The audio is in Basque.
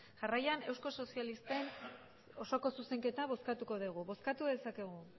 jarraian euskal sozialisten osoko zuzenketa bozkatuko degu bozkatu dezakegu